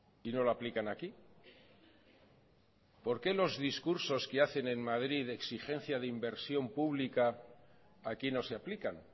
y no lo aplican aquí por qué los discursos que hacen en madrid de exigencia de inversión pública aquí no se aplican